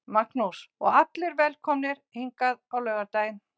Magnús: Og allir velkomnir hingað á laugardaginn?